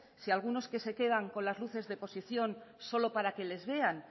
si algunos que se quedan con las luces de posición solo para que les vean